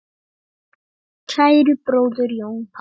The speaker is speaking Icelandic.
Kæri bróðir, Jón Páll.